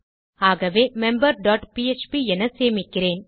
ஆகவே member dot PHP என சேமிக்கிறேன்